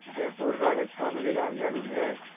जयपुर राजस्थान की राजधानी है